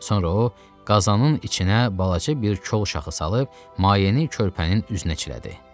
Sonra o qazanın içinə balaca bir kol şaxı salıb mayeni körpənin üzünə çilədi.